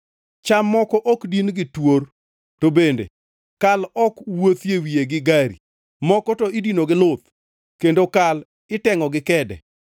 Cham moko ok din gi twor to bende kal ok wuothie wiye gi gari; moko to idino gi luth kendo kal itengʼo gi kede.